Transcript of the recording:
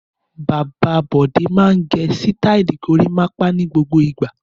Bàbá Bọ̀dé máa ń gẹ sítáálì gorímápá ní gbogbo ìgbà.